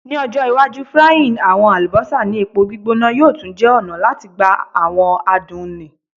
Ni ojo iwaju frying awọn alubosa ni epo gbigbona yoo tun jẹ ọna lati gba awọn adun ni